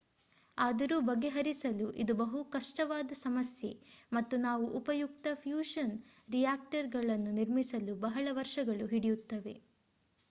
ಆದರೂ ಬಗೆಹರಿಸಲು ಇದು ಬಹು ಕಷ್ಟವಾದ ಸಮಸ್ಯೆ ಮತ್ತು ನಾವು ಉಪಯುಕ್ತ ಫ್ಯೂಷನ್ ರಿಯಾಕ್ಟರ್ಗಳನ್ನು ನಿರ್ಮಿಸಲು ಬಹಳ ವರ್ಷಗಳು ಹಿಡಿಯುತ್ತವೆ